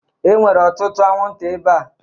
E nwere ọtụtụ anwụnta ebea